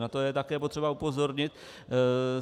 Na to je také potřeba upozornit.